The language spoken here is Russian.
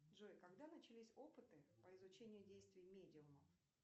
джой когда начались опыты по изучению действий медиумов